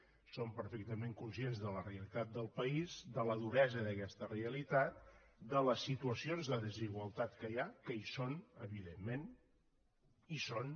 som perfectament conscients de la realitat del país de la duresa d’aquesta realitat de les situacions de desigualtat que hi ha que hi són evidentment hi són